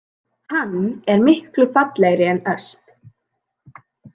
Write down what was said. Hann er miklu fallegri en ösp